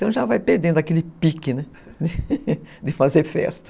Então já vai perdendo aquele pique, né, de fazer festa.